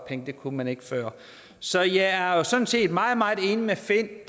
det kunne man ikke før så jeg er er sådan set meget meget enig med finn